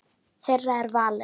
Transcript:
Þeirra er valið.